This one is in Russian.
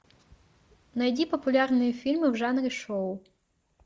найди популярные фильмы в жанре шоу